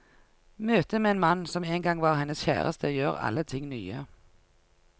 Møtet med en mann, som en gang var hennes kjæreste, gjør alle ting nye.